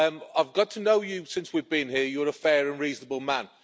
I've got to know you since we've been here you're a fair and reasonable man.